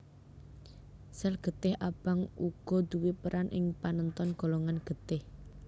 Sel getih abang uga duwé peran ing panenton golongan getih